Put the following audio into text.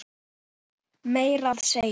Meira að segja